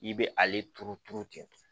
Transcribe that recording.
I bɛ ale turu turu ten